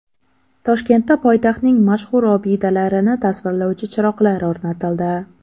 Toshkentda poytaxtning mashhur obidalarini tasvirlovchi chiroqlar o‘rnatildi.